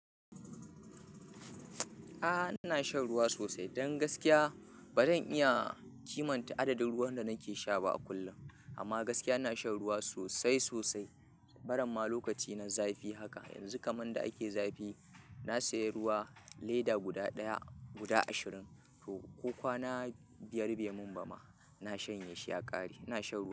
A'a, ina shan ruwa sosai, dan gaskiya ba zan iya kimanta adadin ruwan da nake sha ba a kullum. Amma gaskiya ina shan ruwa sosai-sosai, baramma lokaci na zafi haka. Yanzu kaman da ake zafi, na sayi ruwa leda guda ɗaya; guda ashirin. To, ko kwana biyar bai mun bama, na shanye shi ya ƙare. Ina shan ruwa.